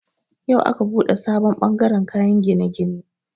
Yau aka buɗe sabon bangaren kayan gine-gine.